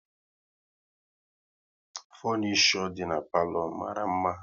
Funisho dị n'palo mara mma